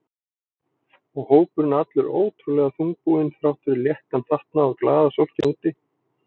Og hópurinn allur ótrúlega þungbúinn þrátt fyrir léttan fatnað og glaðasólskin úti.